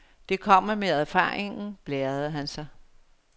Det kommer med erfaringen, blærede han sig.